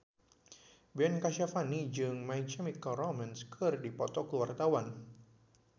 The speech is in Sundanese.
Ben Kasyafani jeung My Chemical Romance keur dipoto ku wartawan